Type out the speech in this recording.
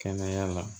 Kɛnɛya la